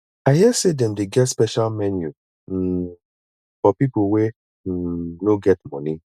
i hear sey dem dey get special menu um for pipo wey um no get moni